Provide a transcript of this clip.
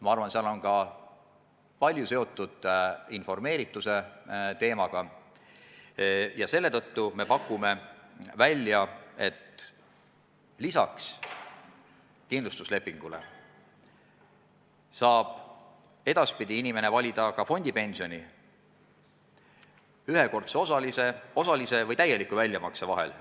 Ma arvan, et palju annab tunda ka vähene informeeritus, ja selle tõttu me pakume välja, et lisaks kindlustuslepingule saab inimene edaspidi valida ka fondipensioni, ühekordse osalise või täieliku väljamakse vahel.